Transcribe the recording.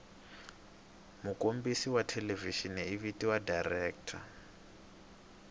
mukombisi wathelevishini ivhitiwa director